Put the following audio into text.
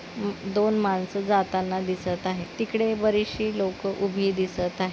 दोन मानस जाताना दिसत आहे तिकडे बरीच शी लोक उभी दिसत आहे.